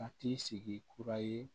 A t'i sigi kura ye